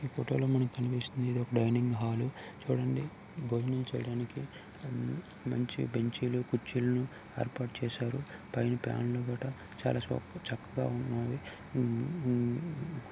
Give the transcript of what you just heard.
ఈ ఫోటోలో మనకి కనిపిస్తుంది ఇదొక డైనింగ్ హాలు చూడండి భోజనం చేయడానికి మంచి బెంచీ లను కుర్చీలను ఏర్పాటు చేశారు. పైన ఫ్యాన్ లు కూడా చక్కగా ఉన్నాయి మ్మ్ మ్మ్ --